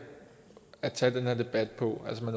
at tage den her debat på altså at